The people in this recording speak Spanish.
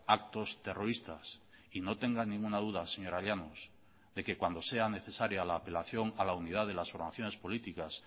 actos terroristas y no tenga ninguna duda señora llanos de que cuando sea necesaria la apelación a la unidad de las formaciones políticas